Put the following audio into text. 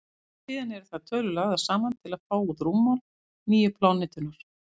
síðan eru þær tölur lagðar saman til að fá út rúmmál nýju plánetunnar